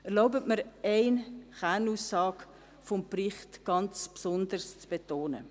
Erlauben Sie mir, eine Kernaussage des Berichts ganz besonders zu betonen: